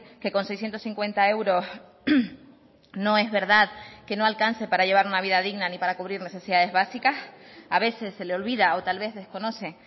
que con seiscientos cincuenta euros no es verdad que no alcance para llevar una vida digna ni para cubrir necesidades básicas a veces se le olvida o tal vez desconoce